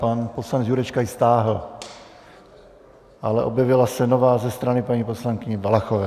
Pan poslanec Jurečka ji stáhl, ale objevila se nová ze strany paní poslankyně Valachové.